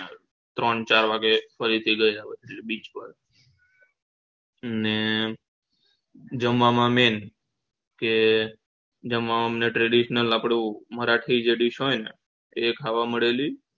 ત્રણ ચાર વાગે ફરીથી ગયા beach પર ને જમવામાં main કે જમવામાંઅમને traditional આપડુ મારાઠી જે dies હોય એ ખાવા મળેલી